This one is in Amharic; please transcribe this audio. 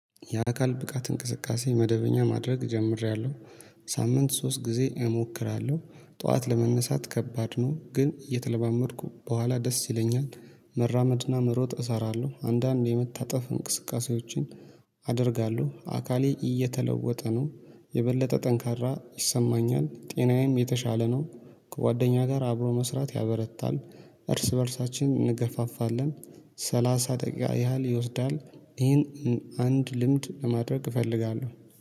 የአካል ብቃት እንቅስቃሴ መደበኛ ማድረግ ጀምሬያለሁ ሳምንት ሶስት ጊዜ እሞክራለሁ ጠዋት ለመነሳት ከባድ ነው ግን እየተለማመድኩ በኋላ ደስ ይለኛል። መራመድና መሮጥ እሰራለሁ አንዳንዴ የመታጠፍ እንቅስቃሴዎችን አደርጋለሁ። አካሌ እየተለወጠ ነው የበለጠ ጠንካራ ይሰማኛል ጤናዬም የተሻለ ነው። ከጓደኛ ጋር አብሮ መስራት ያበረታል። እርስ በእርሳችን እንገፋፋለን። ሰላሳ ደቂቃ ያህል ይወስዳል ይሄን አንድ ልምድ ለማድረግ እፈልጋለሁ